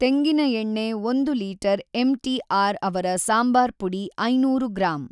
ತೆಂಗಿನ ಎಣ್ಣೆ ಒಂದು ಲೀಟರ್ ಎಮ್ ಟಿ ಆರ್‌ ಅವರ ಸಾಂಬಾರ್ ಪುಡಿ ಐನೂರು ಗ್ರಾಮ್.